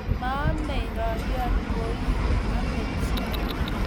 Maomei rorion koi, ame chi